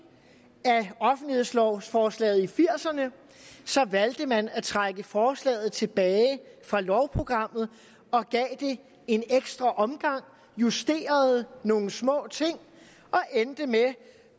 af offentlighedslovsforslaget i nitten firserne valgte han at trække forslaget tilbage fra lovprogrammet og gav det en ekstra omgang justerede nogle små ting og endte med